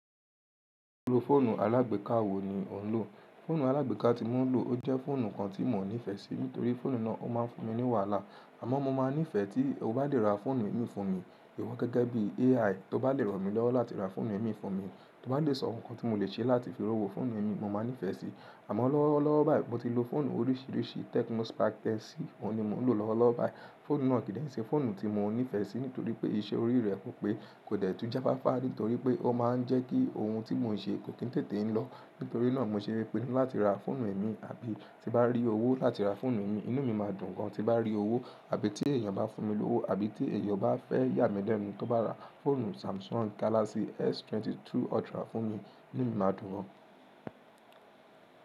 Irú fóònù alágbéka wo ni o ń lò?, Fóònù alágbéka tí mo ń lò o jẹ́ fóònù kan tí mi o ní fẹ̀ sí torí fóònù náà máa ń fún mi ní wàhálà. Àmọ́ mo máa ní fẹ́ tí o bá lè ra fóònù imí fún mi ìwọ gẹ́gẹ́ bí AI to bá lè ràn mí lọ́wọ́ láti ra fóònù imí fún mi, to bá lè sọ ohun kan tí mo lè ṣe láti fi rówó fóònù imí mo máa ní fẹ́ sí. Àmọ́ lọ́wọ́lọ́wọ́ báyìí mo ti lo fóònù oríṣiríṣi Tecno Spark 10c ni mo ń lò lọ́wọ́lọ́wọ́ báyìí. Fóònù náà ki n sè fóònù tí mo ní fẹ̀ sí nítorí pé iṣẹ́ orí rẹ kò pé kó jẹ tún jáfáfá nítorí pé ó máa ń jẹ́ kí ohun tí mo ń ṣe kò kín tètè ń lọ. Nítorí náà mo ṣe ń pinnu láti ra fóònù imí àbí tí bá rí owó láti ra fóònù imí inú mi máa dùn gan. Tí bá rí owó àbí, tí èèyàn bá fún mi lówó àbí, tí èèyàn bá fẹ́ yà mí lẹ́nu tó bá ra fóònù Samsung Galaxy S22 Ultra fún mi inú mi máa dùn gan.